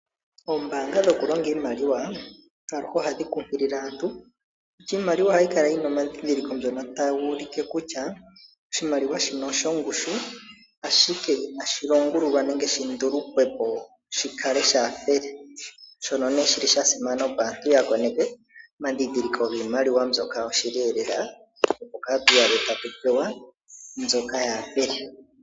Ombaanga dhokulonga iimaliwa aluhe ohadhi kunkilile aantu kutya iimaliwa ohayi kala yi na omandhindhiliko ngono tagu ulike kutya oshimaliwa shino oshongushu ashike inashi longululwa nenge shi ndulukwe po shi kale shaa fele shono nee shi li sha simana opo aantu ya koneke omandhindhiliko giimaliwa mbyoka yoshili lela opo kaatu iyadhe tatu pewa mbyoka yaa fele.